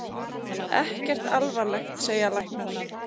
Ekkert alvarlegt segja læknar.